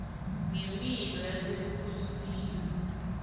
ngemphilo yasebukhosini